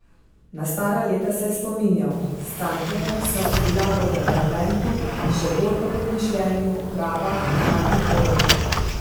Na stara leta se je spominjal: "S Cankarjem sva si bila po temperamentu, še bolj pa po mišljenju prava antipoda.